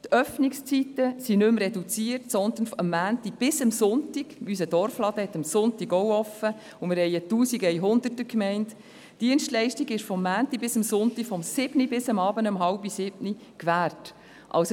Die Öffnungszeiten sind nicht mehr reduziert, sondern die Dienstleistung ist von Montag bis Sonntag – unser Dorfladen ist auch am Sonntag geöffnet, und wir haben eine 1100er-Gemeinde – von 7 Uhr bis 18.30 Uhr gewährleistet.